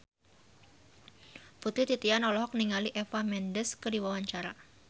Putri Titian olohok ningali Eva Mendes keur diwawancara